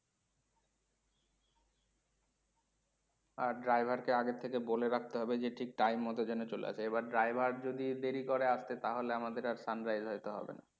আর driver কে আগের থেকে বলে রাখতে হবে ঠিক time মতো যেন চলে আসে। এবার driver যদি দেরি করে আস্তে তাহলে আমাদের আর sunrise হইতো হবেনা।